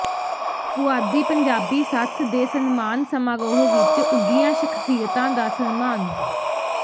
ਪੁਆਧੀ ਪੰਜਾਬੀ ਸੱਥ ਦੇ ਸਨਮਾਨ ਸਮਾਰੋਹ ਵਿੱਚ ਉੱਘੀਆਂ ਸ਼ਖ਼ਸੀਅਤਾਂ ਦਾ ਸਨਮਾਨ